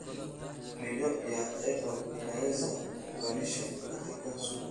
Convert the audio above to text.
Midho ya apple inaweza kuunganishwa katika sugo.